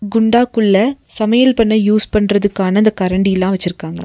குண்டா குள்ள சமையல் பண்ண யூஸ் பண்றதுக்கான அந்த கரண்டில்லா வெச்சிருக்காங்க.